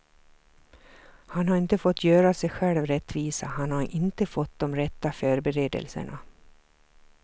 Han har inte fått göra sig själv rättvisa, han har inte fått de rätta förberedelserna.